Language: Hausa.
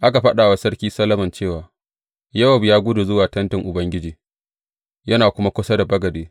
Aka faɗa wa Sarki Solomon cewa Yowab ya gudu zuwa tentin Ubangiji, yana kuma kusa da bagade.